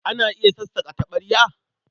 Ana iya sassaƙa taɓarya?